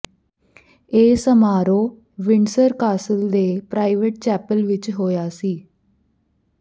ਇਹ ਸਮਾਰੋਹ Windsor Castle ਦੇ ਪ੍ਰਾਈਵੇਟ ਚੈਪਲ ਵਿਚ ਹੋਇਆ ਸੀ